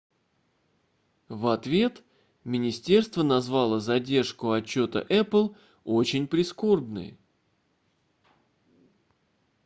в ответ министерство назвало задержку отчета apple очень прискорбной